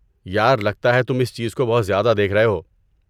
یار، لگتا ہے تم اس چیز کو بہت زیادہ دیکھ رہے ہو۔